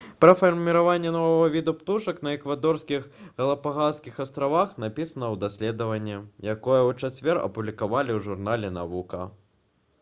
пра фарміраванне новага віду птушак на эквадорскіх галапагаскіх астравах напісана ў даследаванні якое ў чацвер апублікавалі ў журнале «навука»